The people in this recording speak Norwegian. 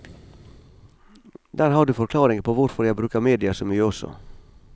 Der har du forklaringen på hvorfor jeg bruker media så mye også.